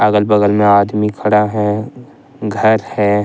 अगल बगल में आदमी खड़ा है घर है ।